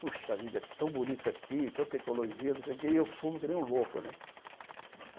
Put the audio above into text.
Puxa vida, que tão bonito aqui, tanta ecologia, não sei o quê e eu fumo que nem um louco, né?